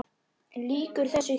Lýkur þessu hér?